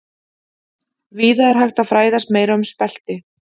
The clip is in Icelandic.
Víða er hægt að fræðast meira um spelti.